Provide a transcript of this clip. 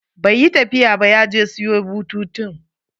Bai yi tafiya ba, ya je siyo bututun.